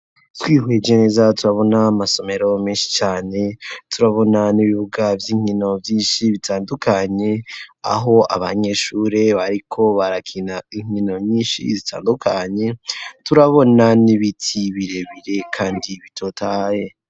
Twihuye geneza turabona amasomero menshi cane turabona n'ibibuga by'inkino byinshi bitandukanye aho abanyeshuri bariko barakina inkino nyinshi zitandukanye turabona n'ibiti birebire kandi bitotaye.